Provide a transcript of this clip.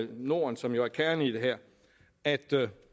norden som jo er kernen i det her at